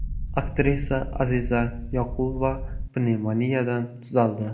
Aktrisa Aziza Yoqubova pnevmoniyadan tuzaldi.